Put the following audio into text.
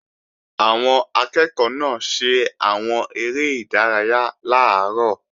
Àwọn akẹ́ẹ̀kọ́ náà ṣe àwọn eré ìdárayá làárọ̀